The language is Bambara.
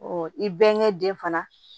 i bɛnkɛ den fana